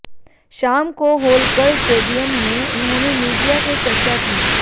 शाम को होलकर स्टेडियम में उन्होंने मीडिया से चर्चा की